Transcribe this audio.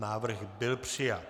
Návrh byl přijat.